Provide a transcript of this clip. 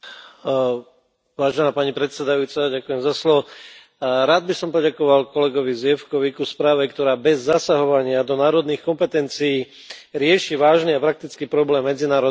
Vážená pani predsedajúca, rád by som poďakoval kolegovi Zwiefkovi k správe, ktorá bez zasahovania do národných kompetencií rieši vážny a praktický problém medzinárodného únosu detí.